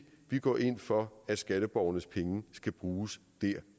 vi går ind for at skatteborgernes penge skal bruges der